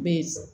Be